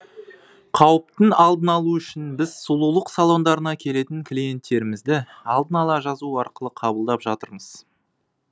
қауіптің алдын алу үшін біз сұлулық салондарына келетін клиенттерімізді алдын ала жазу арқылы қабылдап жатырмыз